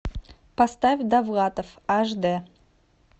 поставь довлатов аш дэ